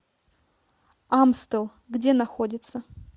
амстел где находится